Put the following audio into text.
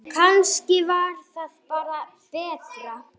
Hann horfði líka á mig.